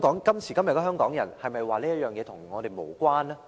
今時今日的香港人，能否說這件事與我們無關呢？